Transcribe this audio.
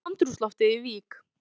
Hvernig var andrúmsloftið í Vík?